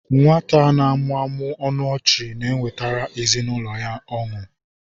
Nwata na-amụmụ ọnụ ọchị na-ewetara ezinụlọ ya ọṅụ.